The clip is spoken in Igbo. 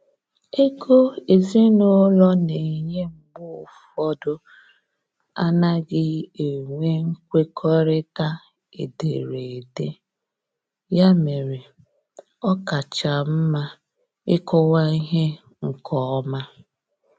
Ego ezinụlọ na enye mgbe ụfọdụ anaghị enwe nkwekọrịta ederede, ya mere ọ kacha mma ịkọwa ihe nkeọma